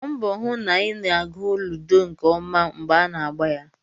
Gbaa mbọ hụ na ị na-agụ ludo nke ọma mgbe a na-agba ya